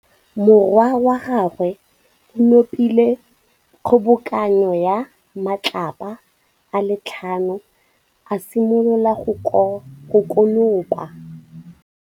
Morwa wa gagwe o nopile kgobokanô ya matlapa a le tlhano, a simolola go konopa.